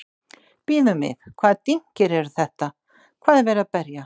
Bíðum við, hvaða dynkir eru þetta, hvað er verið að berja?